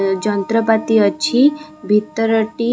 --ଯନ୍ତ୍ରପାତି ଅଛି ଭିତର ଟି --